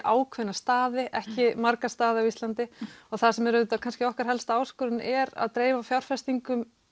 ákveðna staði ekki marga staði á Íslandi og það sem er auðvitað okkar helsta áskorun er að dreifa fjárfestingum